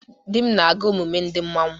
Di m na-aga emume ndị manwu.